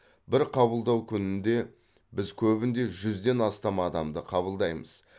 бір қабылдау күнінде біз көбінде жүзден астам адамды қабылдаймыз